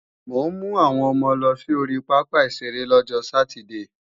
Mò ń mú àwọn ọmọ lọ sí ori pápá ìṣeré lọ́jọ sátidée